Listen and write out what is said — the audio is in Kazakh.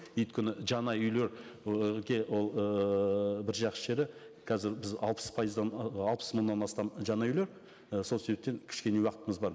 өйткені жаңа үйлер ы ол ыыы бір жақсы жері қазір біз алпыс пайыздан ы алпыс мыңнан астам жаңа үйлер і сол себептен кішкене уақытымыз бар